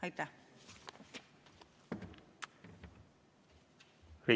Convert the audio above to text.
Aitäh!